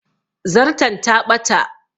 Zarton ta ɓata